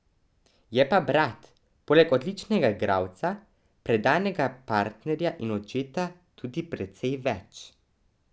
Je pa Brad poleg odličnega igralca, predanega partnerja in očeta tudi precej več.